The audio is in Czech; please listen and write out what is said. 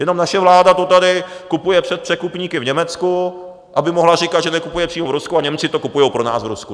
Jenom naše vláda to tady kupuje přes překupníky v Německu, aby mohla říkat, že nekupuje přímo v Rusku, a Němci to kupují pro nás v Rusku.